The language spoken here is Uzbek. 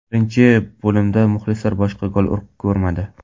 Birinchi bo‘limda muxlislar boshqa gol ko‘rmadi.